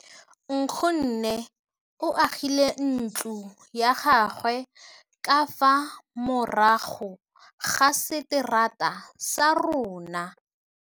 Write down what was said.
Nkgonne o agile ntlo ya gagwe ka fa morago ga seterata sa rona.